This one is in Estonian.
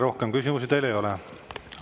Rohkem küsimusi teile ei ole.